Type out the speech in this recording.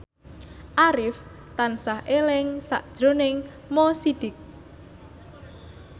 Arif tansah eling sakjroning Mo Sidik